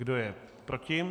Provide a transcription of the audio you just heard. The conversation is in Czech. Kdo je proti?